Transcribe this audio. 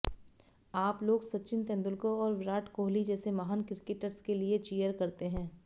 आप लोग सचिन तेंदुलकर और विराट कोहली जैसे महान क्रिकेटर्स के लिए चीयर करते हैं